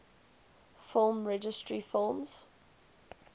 film registry films